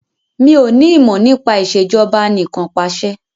Mi ò ní ìmọ̀ nípa Ìṣèjọba Anìkanpàṣẹ